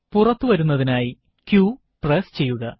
പുറത്തു വരുന്നതിനായി q press ചെയ്യുക